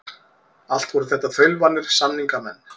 Allt voru þetta þaulvanir samningamenn.